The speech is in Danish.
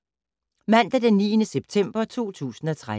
Mandag d. 9. september 2013